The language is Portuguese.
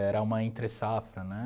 Era uma entressafra, né?